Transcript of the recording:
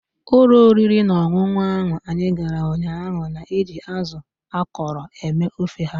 Ụlọ oriri na ọṅụṅụ ahụ anyị gara ụnyaahụ na-eji azụ akọrọ eme ofe ha.